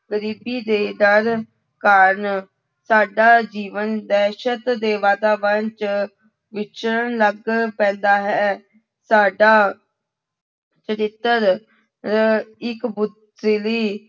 ਗ਼ਰੀਬੀ ਦੇ ਡਰ ਕਾਰਨ ਸਾਡਾ ਜੀਵਨ ਦਹਿਸ਼ਤ ਦੇ ਵਾਤਾਵਰਨ ਚ ਵਿਚਰਨ ਲੱਗ ਪੈਂਦਾ ਹੈ, ਤੁਹਾਡਾ ਚਰਿੱਤਰ ਰ ਇੱਕ ਪੁਤਰੀ